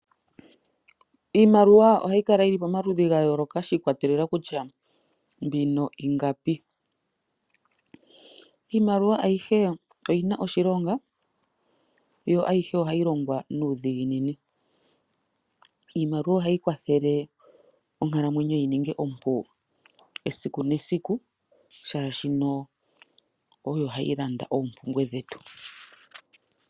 Iimaliwa ohayi kala yili pomaludhi ga yoloka shi ikwatelela kutya mbino ingapi. Iimaliwa ayihe oyina oshilonga yo ayihe ohayi longwa nuudhiginini, iimaliwa ohayi kwathele onkalamwenyo yininge ompu esiku nesiku shashino oyo hayi landa oompumbwe dhetu.